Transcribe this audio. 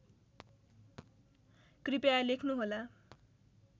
कृपया लेख्नुहोला